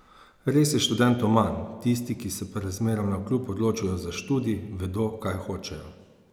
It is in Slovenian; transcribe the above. Res je študentov manj, tisti, ki se pa razmeram navkljub odločijo za študij, vedo, kaj hočejo.